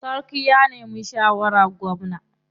Sarkin ya nemi shawarar gwamna.